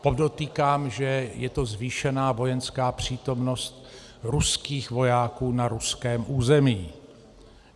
Podotýkám, že je to zvýšená vojenská přítomnost ruských vojáků na ruském území.